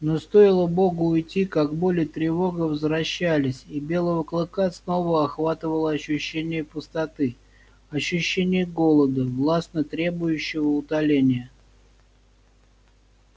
но стоило богу уйти как боль и тревога возвращались и белого клыка снова охватывало ощущение пустоты ощущение голода властно требующего утоления